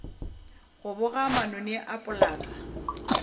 go boga manoni a polase